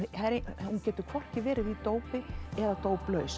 hún getur hvorki verið í dópi eða